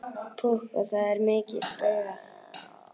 Púkk og það er mikið spaugað.